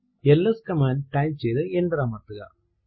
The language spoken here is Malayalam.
എൽഎസ് കമാൻഡ് ടൈപ്പ് ചെയ്തു എന്റർ അമർത്തുക